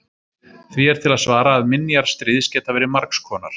því er til að svara að minjar stríðs geta verið margs konar